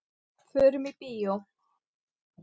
Förum í bíó.